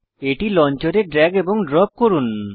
এটি লঞ্চারে ড্র্যাগ এবং ড্রপ করুন